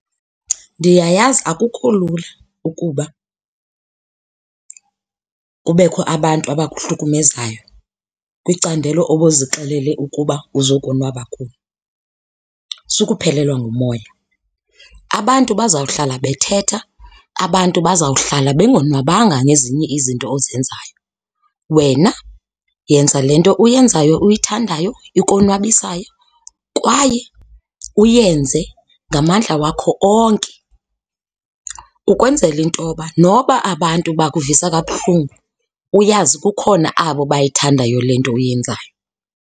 Ndiyayazi akukho lula ukuba kubekho abantu abahlukumezayo kwicandelo obuzixelele ukuba uzokonwaba kulo, sukuphelelwe ngumoya. Abantu bazawuhlala bethetha, abantu bazawuhlala bengonwabanga ngezinye izinto ozenzayo. Wena yenza le nto uyenzayo uyithandayo ikonwabisayo kwaye uyenze ngamandla wakho onke ukwenzela intoba noba abantu bakuvisa kabuhlungu uyazi kukhona abo bayithandayo le nto uyenzayo.